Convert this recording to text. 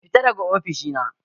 Fita daga ofishina!